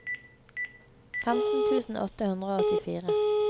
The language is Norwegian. femten tusen åtte hundre og åttifire